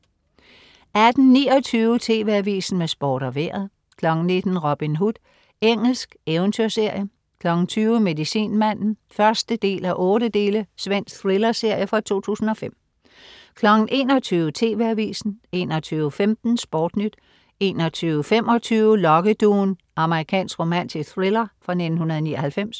18.29 TV AVISEN med Sport og Vejret 19.00 Robin Hood. Engelsk eventyrserie 20.00 Medicinmande 1:8. Svensk thrillerserie fra 2005 21.00 TV AVISEN 21.15 SportNyt 21.25 Lokkeduen. Amerikansk romantisk thriller fra 1999